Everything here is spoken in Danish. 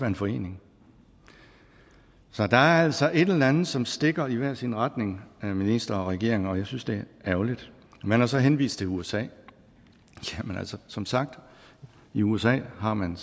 en forening så der er altså et eller andet som stikker i hver sin retning herre minister og regering og jeg synes det er ærgerligt man har så henvist til usa jamen altså som sagt i usa har man